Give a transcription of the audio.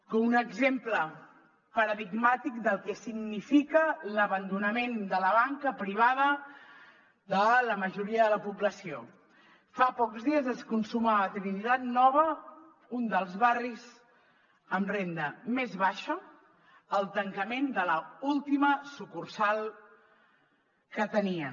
com un exemple paradigmàtic del que significa l’abandonament de la banca privada de la majoria de la població fa pocs dies es consumava a trinitat nova un dels barris amb renda més baixa el tancament de l’última sucursal que tenien